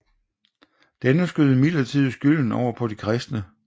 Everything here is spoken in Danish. Denne skød imidlertid skylden over på de kristne